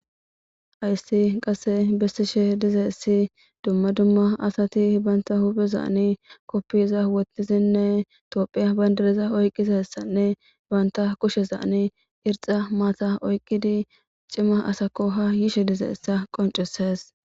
Haysi qasi besishin didaysa duma duma asati banta huphezan kopiyza wotidine Tophiya bandiraza oyqidi kushiyan irxa mataza oyqid ha c'ima asako shiqishen de" iyza be'ashe days